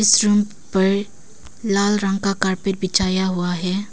इस रूम पर लाल रंग का कॉरपेट बिछाया हुआ है।